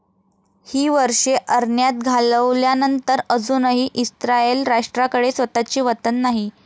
ही वर्षे अरण्यात घालवल्यानंतर अजूनही इस्राएल राष्ट्राकडे स्वतःचे वतन नाही.